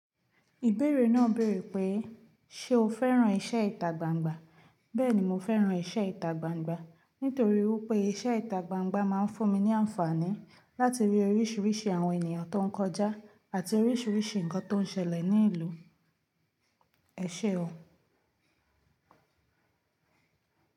Ìbéèrè náà béèrè pé, ṣe o fẹ́ràn iṣẹ́ ìtagbangba? Bẹ́ẹ̀ni, mo fẹ́ràn iṣẹ́ ìtagbangba nítorí wípé iṣẹ́ ìtagbangba máa ń fún mi ní àǹfààní láti rí oríṣiríṣi àwọn ènìyàn tó ń kọjá àti oríṣiríṣi nǹkan tó ń ṣẹlẹ̀ ní ìlú. Ẹ ṣe o.